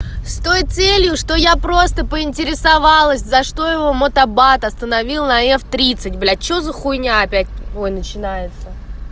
с той целью что я просто поинтересовалась за что его мотобат остановил на ф тридцать блять что за хуйня опять начинается